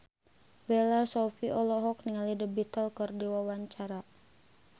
Bella Shofie olohok ningali The Beatles keur diwawancara